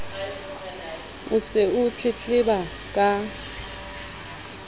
o se o tletleba ka